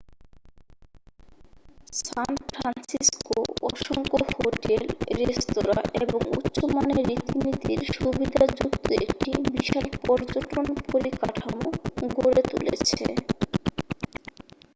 সান Francisco অসংখ্য hotel restaurant এবং উচ্চমানের রীতিনীতির সুবিধাযুক্ত একটি বিশাল পর্যটন পরিকাঠামো গড়ে তুলেছে